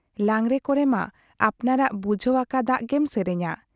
ᱞᱟᱜᱽᱬᱮ ᱠᱚᱨᱮᱢᱟ ᱟᱯᱱᱟᱨᱟᱜ ᱵᱩᱡᱷᱟᱹᱣ ᱟᱠᱟᱫᱟᱜ ᱜᱮᱢ ᱥᱮᱨᱮᱧᱟ ᱾